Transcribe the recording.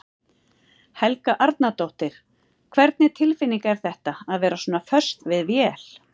Helga Arnardóttir: Hvernig tilfinning er þetta, að vera svona föst við vél?